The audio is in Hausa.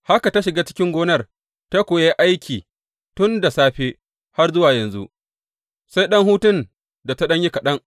Haka ta shiga cikin gonar ta kuwa yi aiki tun da safe har zuwa yanzu, sai ɗan hutun da ta yi kaɗan.